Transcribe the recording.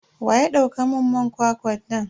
Waya dauka mun man kwakwa na?